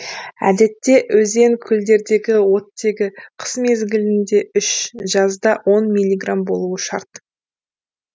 әдетте өзен көлдердегі оттегі қыс мезгілінде үш жазда он милиграмм болуы шарт